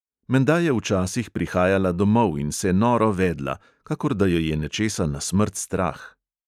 Menda je včasih prihajala domov in se noro vedla, kakor da jo je nečesa na smrt strah.